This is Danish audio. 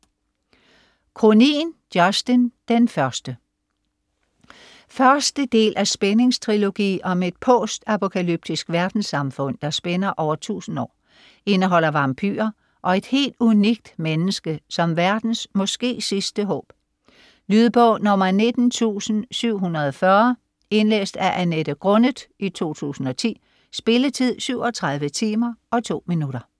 Cronin, Justin: Den første Første del af spændingstrilogi om et post-apokalyptisk verdenssamfund, der spænder over 1000 år. Indeholder vampyrer og et helt unikt menneske som verdens måske sidste håb. Lydbog 19740 Indlæst af Annette Grunnet, 2010. Spilletid: 37 timer, 2 minutter.